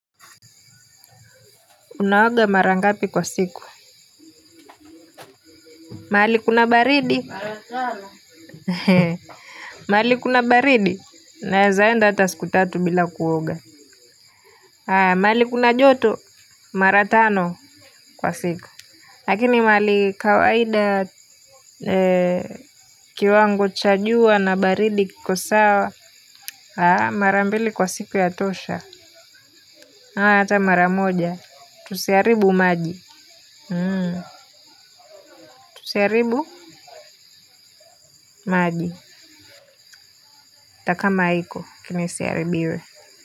Unaoga mara ngapi kwa siku? Mahali kuna baridi. Mahali kuna baridi, naweza enda hata siku tatu bila kuoga. Mahali kuna joto, mara tano kwa siku. Lakini mahali kawaida, kiwango cha jua na baridi kiko sawa. Mara mbili kwa siku yatosha. Hata maramoja. Tusiharibu maji. Tusiharibu maji. Hata kama iko, lakini isiharibiwe.